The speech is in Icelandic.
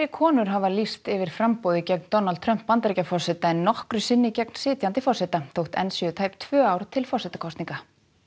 konur hafa lýst yfir framboði gegn Donald Trump Bandaríkjaforseta en nokkru sinni gegn sitjandi forseta þótt enn séu tæp tvö ár til forsetakosninga